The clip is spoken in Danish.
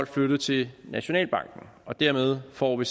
flytte til nationalbanken og dermed får vi